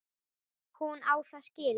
Hún á það skilið.